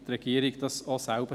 Wie dem auch sei.